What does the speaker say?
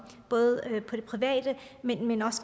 både privat og